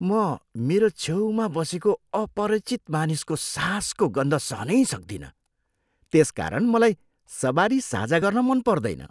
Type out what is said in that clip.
म मेरो छेउमा बसेको अपरिचित मानिसको सासको गन्ध सहनै सक्दिनँ, त्यसकारण मलाई सवारी साझा गर्न मन पर्दैन।